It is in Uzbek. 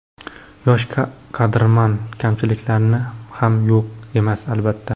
Yosh kadrman, kamchiliklarim ham yo‘q emas, albatta.